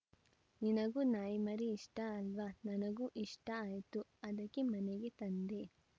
ನಿನಗೂ ನಾಯಿಮರಿ ಇಷ್ಟಅಲ್ವಾ ನನಗೂ ಇಷ್ಟಆಯ್ತು ಅದಕ್ಕೆ ಮನೆಗೆ ತಂದೆ